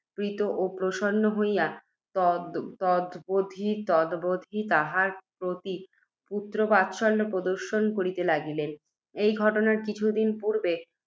প্রীত ও প্রসন্ন হইয়া, তদবধি তাঁহার প্রতি পুত্ত্রবাৎসল্য প্রদর্শন করিতে লাগিলেন। এই ঘটনার কিছু দিন পূর্ব্বে,